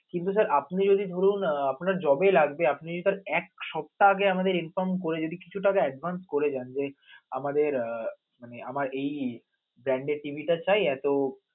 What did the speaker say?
কিন্তু sir আপনে যদি ধরুন, আহ আপনার যবে লাগবে, আপনে যদি তার এক সাপ্তাহ আগে আমাদের inform করে যদি কিছু টাকা advance করে দেন যে আমাদের আহ মানে আমার এই এই brand এর TV টা চাই এতো